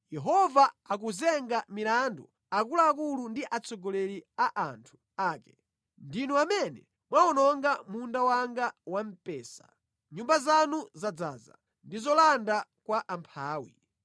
Yehova akuwazenga milandu akuluakulu ndi atsogoleri a anthu ake: “Ndinu amene mwawononga munda wanga wa mpesa; nyumba zanu zadzaza ndi zolanda kwa amphawi.